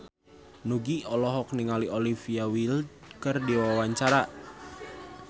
Nugie olohok ningali Olivia Wilde keur diwawancara